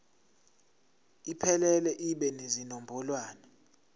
iphelele ibe nezinombolwana